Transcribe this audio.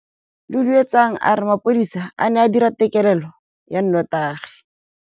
Duduetsang a re mapodisa a ne a dira têkêlêlô ya nnotagi.